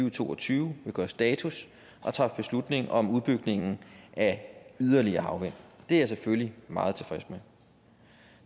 og to og tyve vil gøre status og træffe beslutning om udbygningen af yderligere havvind det er jeg selvfølgelig meget tilfreds med